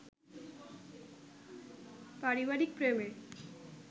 পারিবারিক প্রেমে